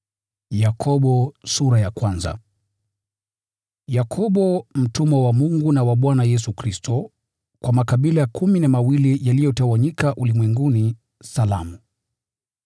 Yakobo, mtumwa wa Mungu na wa Bwana Yesu Kristo: Kwa makabila kumi na mawili yaliyotawanyika ulimwenguni: Salamu.